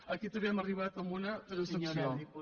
aquí també hem arribat a una transacció